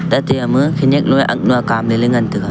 taima khanak nu arnu ya kam nu ya ngan taiga.